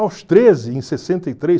Aos treze, em sessenta e três